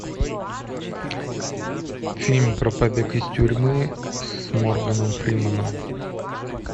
фильм про побег из тюрьмы с морганом фрименом